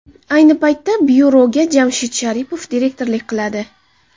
Ayni paytda byuroga Jamshid Sharipov direktorlik qiladi.